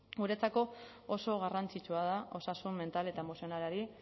guretzako oso garrantzitsua da osasun mental eta emozionalari